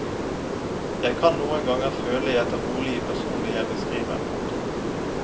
Jeg kan noen ganger føle jeg tar bolig i personene jeg beskriver. punktum